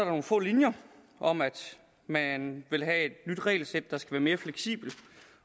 nogle få linjer om at man vil have et nyt regelsæt der skal være mere fleksibelt